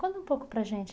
Conta um pouco para a gente.